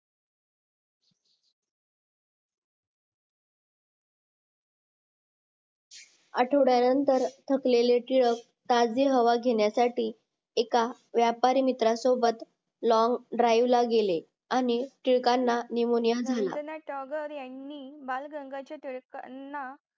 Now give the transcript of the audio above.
आठवड्यानंतर थकलेले टिळक ताज़ी हवा घेण्यासाठी एका व्यापारी मित्रा सोबत long drive ला गेले आणि टिळकांना निमोनिया झाला रवींद्रनाथ टागोर यांनी बाळ गंगाधर टिळकांना